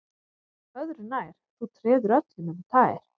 Öðru nær, þú treður öllum um tær